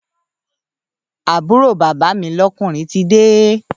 Àbúrò bàbá mi lọ́kùnrin tide